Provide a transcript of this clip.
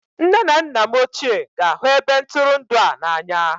Nne na nna m ochie ga-ahụ ebe ntụrụndụ a n'anya